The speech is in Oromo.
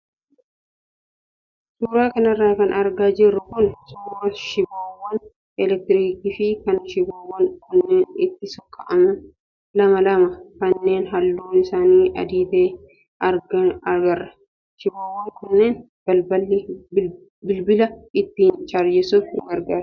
Suuraa kanarra kan argaa jirru kun suuraa shiboowwan elektiriikii fi kan shiboowwan kunneen itti sokka'aman lama lama kanneen halluun isaanii adii ta'e agarra. Shiboowwan kunneen bilbila ittiin chaarjessuuf nu gargaaru.